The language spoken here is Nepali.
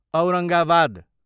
औरङ्गाबाद